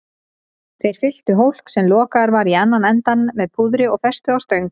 Þeir fylltu hólk, sem lokaður var í annan endann, með púðri og festu á stöng.